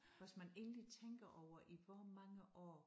Hvis man egentlig tænker over i hvor mange år